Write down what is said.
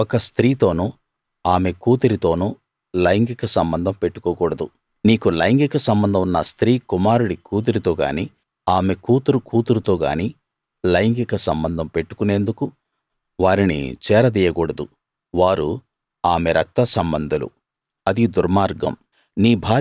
ఒక స్త్రీతోనూ ఆమె కూతురితోనూ లైంగిక సంబంధం పెట్టుకోకూడదు నీకు లైంగిక సంబంధం ఉన్న స్త్రీ కుమారుడి కూతురుతోగానీ ఆమె కూతురు కూతురుతో గానీ లైంగిక సంబంధం పెట్టుకునేందుకు వారిని చేర దీయకూడదు వారు ఆమె రక్తసంబంధులు అది దుర్మార్గం